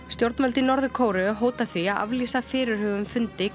stjórnvöld í Norður Kóreu hóta því að aflýsa fyrirhuguðum fundi